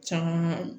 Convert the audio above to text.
Caman